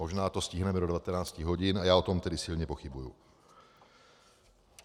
Možná to stihneme do 19 hodin a já o tom tedy silně pochybuji.